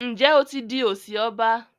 Njé o tí dì osi ọba?